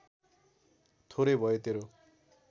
थोरै भयो तेरो